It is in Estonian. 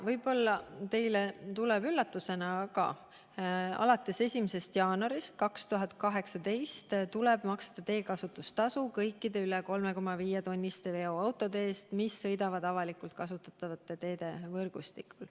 Võib-olla teile tuleb üllatusena, aga alates 1. jaanuarist 2018 tuleb maksta teekasutustasu kõikide üle 3,5-tonniste veoautode eest, mis sõidavad avalikult kasutatavate teede võrgustikus.